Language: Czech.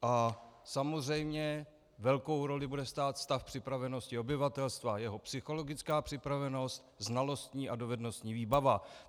A samozřejmě velkou roli bude hrát stav připravenosti obyvatelstva, jeho psychologická připravenost, znalostní a dovednostní výbava.